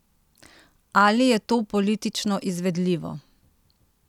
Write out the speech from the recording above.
Ali je to politično izvedljivo?